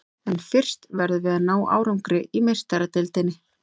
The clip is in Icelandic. En fyrst verðum við að ná árangri í Meistaradeildinni.